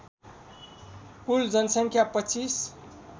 कुल जनसङ्ख्या २५